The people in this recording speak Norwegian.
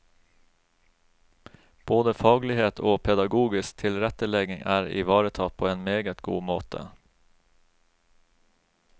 Både faglighet og pedagogisk tilrettelegging er ivaretatt på en meget god måte.